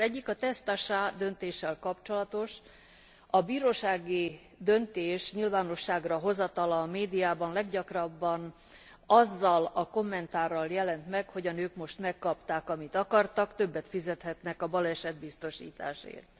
Az egyik a Test Achats döntéssel kapcsolatos. A bírósági döntés nyilvánosságra hozatala a médiában leggyakrabban azzal a kommentárral jelent meg, hogy a nők most megkapták, amit akartak, többet fizethetnek a balesetbiztosításért.